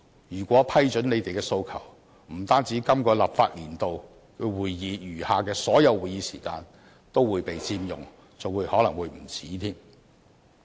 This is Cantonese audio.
如果批准他們的訴求，今個立法年度餘下的所有會議時間都會被佔用，甚至還不足夠。